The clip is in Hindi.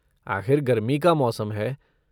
आखिर गर्मी का मौसम है!